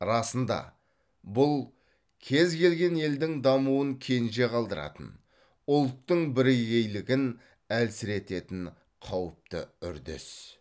расында бұл кез келген елдің дамуын кенже қалдыратын ұлттың бірегейлігін әлсірететін қауіпті үрдіс